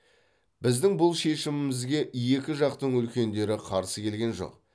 біздің бұл шешімімізге екі жақтың үлкендері қарсы келген жоқ